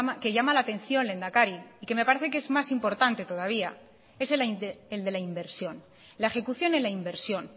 que llama la atención lehendakari y que me parece que es más importante todavía es el de la inversión la ejecución en la inversión